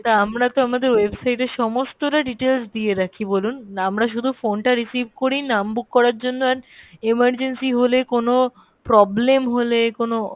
তা আমরা তো আমাদের website এ সমস্তটা details দিয়ে রাখি বলুন না আমরা শুধু phone টা receive করি নাম book করার জন্য and emergency হলে কোনো problem হলে কোনো